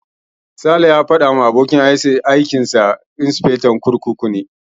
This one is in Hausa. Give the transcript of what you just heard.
Sale ya faɗa min cewa abokin ofis dinsa insifectan kurkuku ne.